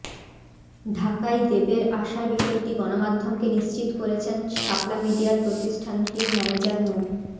ঢাকায় দেবের আসার বিষয়টি গণমাধ্যমকে নিশ্চিত করেছেন শাপলা মিডিয়ার প্রতিষ্ঠানটির ম্যানেজার মো